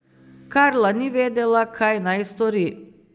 Carla ni vedela, kaj naj stori.